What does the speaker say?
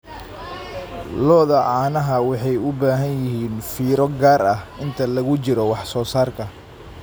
Lo'da caanaha waxay u baahan yihiin fiiro gaar ah inta lagu jiro wax soo saarka.